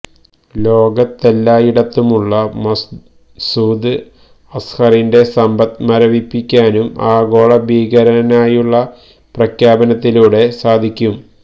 ലോകത്തെല്ലായിടത്തുമുള്ള മസൂദ് അസ്ഹറിന്റെ സമ്പത്ത് മരവിപ്പിക്കാനും ആഗോള ഭീകരനായുള്ള പ്രഖ്യാപനത്തിലൂടെ സാധിക്കും